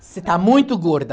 Você está muito gorda.